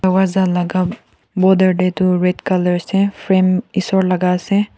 dorbaja laka border te toh red colour ase frame isor laka ase.